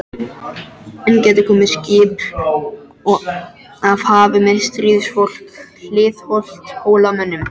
Enn gætu komið skip af hafi með stríðsfólk hliðhollt Hólamönnum.